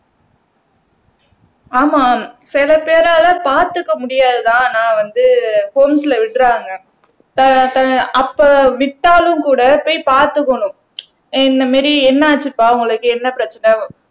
ஆமாம் சில பேரால பார்த்துக்க முடியாதுதான் நான் வந்து ஹோம்ஸ்ல விடுறாங்க அப்ப வித்தாலும் கூட போய் பாத்துக்கணும் இந்த மாதிரி என்னாச்சுப்பா உங்களுக்கு என்ன பிரச்சனை